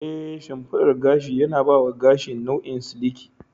Ee, shimfiɗar gashi yana ba wa gashi nau'in siliki.